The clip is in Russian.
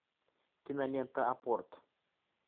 кинолента апорт